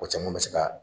O caman bɛ se ka